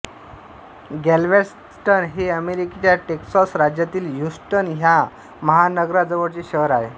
Galveston हे अमेरिकेच्या Texas राज्यातील ह्युस्टन या महानगराजवळचे शहर आहे